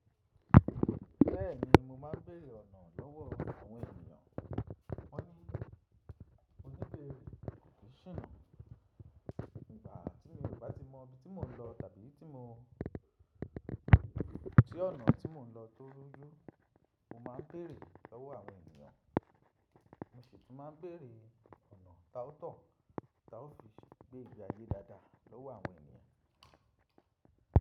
Bẹ́ẹ̀ni mo máa ń béèrè ọ̀nà lọ́wọ́ àwọn ènìyàn. Wọ́n ní oníbe, kò sí sinà. Ìgba tí mi ò bá ti mọ ibi tí mò ń lọ tàbí tí mò ń tí ọ̀nà tí mò ń lọ tó ruju, mo máa ń bèèrè lọ́wọ́ àwọn ènìyàn. Mo sì tún máa ń bèèrè ọ̀nà ta ó tọ̀, ta ó fi gbé ìgbà ayé dáadáa lọ́wọ́ àwọn ènìyàn.